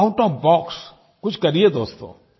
out of box कुछ करिये दोस्तो